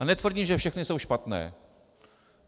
A netvrdím, že všechny jsou špatné.